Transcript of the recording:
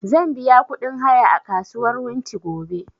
Zan biya ƙudin haya a kasuwar wunti gobe